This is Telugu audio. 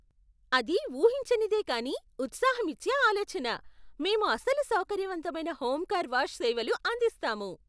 అది ఊహించనిదే కానీ ఉత్సాహమిచ్చే ఆలోచన! మేము అసలు సౌకర్యవంతమైన హోమ్ కార్ వాష్ సేవలు అందిస్తాము.